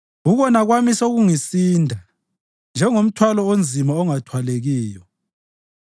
Ukona kwami sekungisinda njengomthwalo onzima ongathwalekiyo.